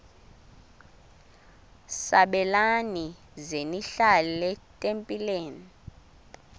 sabelani zenihlal etempileni